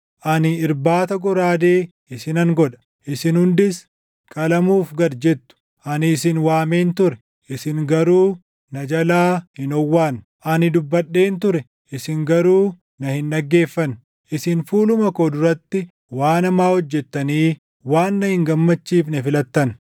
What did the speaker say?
ani irbaata goraadee isinan godha; isin hundis qalamuuf gad jettu; ani isin waameen ture; isin garuu na jalaa hin owwaanne; ani dubbadheen ture; isin garuu na hin dhaggeeffanne. Isin fuuluma koo duratti waan hamaa hojjettanii waan na hin gammachiifne filattan.”